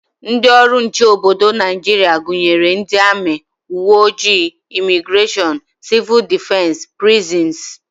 Ndị ọrụ nche obodo Naijiria gụnyere ndị amị, uwe ojii, imigreshọn, sịvụl dịfensị, prizins